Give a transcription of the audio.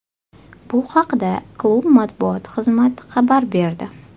Bu haqda klub matbuot xizmat xabar berdi .